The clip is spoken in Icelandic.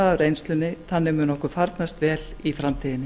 af reynslunni þannig mun okkur farnast vel í framtíðinni